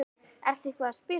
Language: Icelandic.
Ertu eitthvað að spila þar?